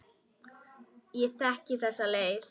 Ég þekki þessa leið.